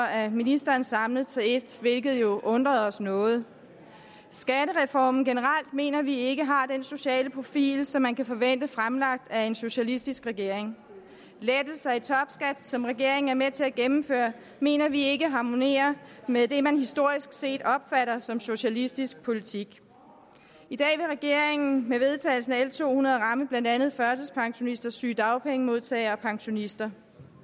af ministeren samlet til et forslag hvilket jo undrede os noget skattereformen generelt mener vi ikke har den sociale profil som man kan forvente fremlagt af en socialistisk regering lettelser i topskat som regeringen er med til at gennemføre mener vi ikke harmonerer med det man historisk set opfatter som socialistisk politik i dag vil regeringen med vedtagelsen af l to hundrede ramme blandt andet førtidspensionister sygedagpengemodtagere og pensionister